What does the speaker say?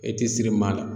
E ti siri maa la